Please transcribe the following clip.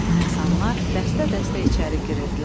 İnsanlar dəstə-dəstə içəri girirdilər.